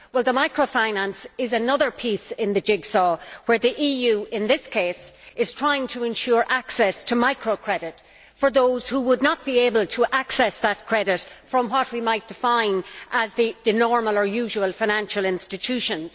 The microfinance facility is another piece in the jigsaw where the EU, in this case, is trying to ensure access to micro credit for those who would not be able to access that credit from what we might define as the normal or usual financial institutions.